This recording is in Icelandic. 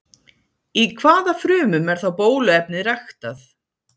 Í hvaða frumum er þá bóluefnið ræktað?